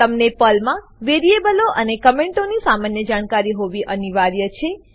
તમને પર્લમાં વેરીએબલો અને કમેંટોની સામાન્ય જાણકારી હોવી અનિવાર્ય છે